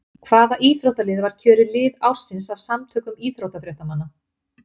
Hvaða íþróttalið var kjörið lið ársins af samtökum íþróttafréttamanna?